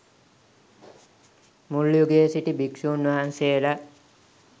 මුල් යුගයේ සිටි භික්‍ෂූන් වහන්සේලා